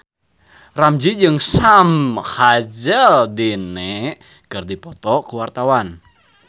Ramzy jeung Sam Hazeldine keur dipoto ku wartawan